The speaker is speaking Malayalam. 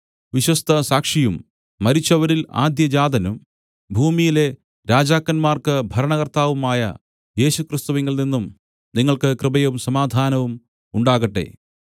വിശ്വസ്തസാക്ഷിയും മരിച്ചവരിൽ ആദ്യജാതനും ഭൂമിയിലെ രാജാക്കന്മാർക്കു ഭരണകർത്താവുമായ യേശുക്രിസ്തുവിങ്കൽ നിന്നും നിങ്ങൾക്ക് കൃപയും സമാധാനവും ഉണ്ടാകട്ടെ